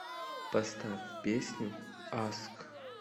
поставь песню аск